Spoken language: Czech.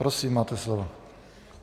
Prosím, máte slovo.